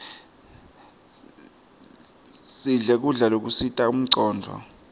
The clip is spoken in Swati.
sidle kudla lokusita incondvo